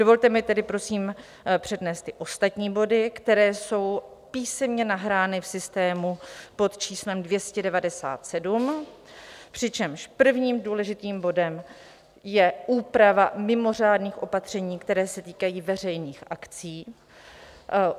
Dovolte mi tedy prosím přednést ty ostatní body, které jsou písemně nahrány v systému pod číslem 297, přičemž prvním důležitým bodem je úprava mimořádných opatření, která se týkají veřejných akcí.